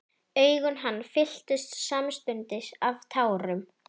Augu hans fylltust samstundis af tárum.